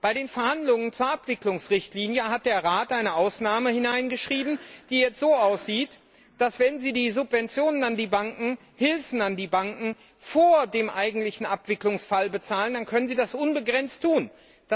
Bei den Verhandlungen zur Abwicklungsrichtlinie hat der Rat eine Ausnahme hineingeschrieben, die jetzt so aussieht, dass, wenn sie die Subventionen an die Banken vor dem eigentlichen Abwicklungsfall bezahlen, sie das unbegrenzt tun können!